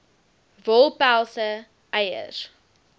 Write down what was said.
wol pelse eiers